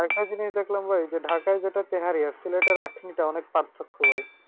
তারপর একটা জিনিস দেখলাম ভাই ঢাকায় যেটা তেহারি আর সিলেটের আখনি সেটা অনেক পার্থক্য ভাই।